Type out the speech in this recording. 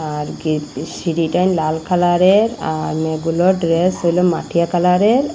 আর কী সিঁড়িটা লাল কালারের আর মেয়েগুলোর ড্রেস হইল মাটিয়া কালারের।